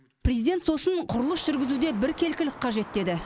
президент сосын құрылыс жүргізуде біркелкілік қажет деді